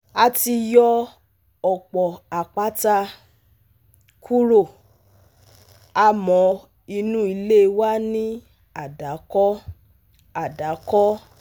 a ti yọ̀ ọ̀pọ̀ àpáta kúrò, àmọ́ inú ilé wa ni àdàkọ àdàkọ